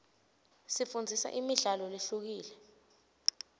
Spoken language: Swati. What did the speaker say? isifundzisa imidlalo lehlukile